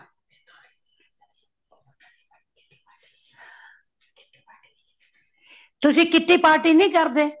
ਤੁਸੀਂ kitty party ਨਹੀਂ ਕਰਦੇ